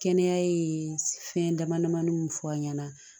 Kɛnɛya ye fɛn dama damani fɔ an ɲana